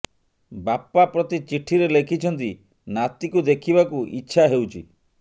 ବାପା ପ୍ରତି ଚିଠିରେ ଲେଖିଛନ୍ତି ନାତିକୁ ଦେଖିବାକୁ ଇଚ୍ଛା ହେଉଛି